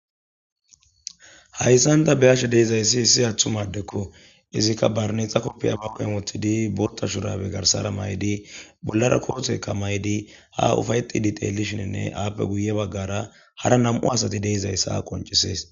Haysan ta ba'ashe dizays issi atuma adeko . Izzika barinexa kaopya hu'en wothid Botha shurabe garsera mayid bollara koteka mayid ha ufayetid xelishinine izappe guye bagara hara 2 asat de'iyaysa qoncises.